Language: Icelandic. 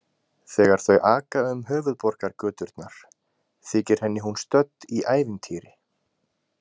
Þegar þau aka um höfuðborgargöturnar þykir henni hún stödd í ævintýri.